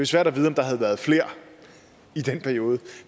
svært at vide om der havde været flere i den periode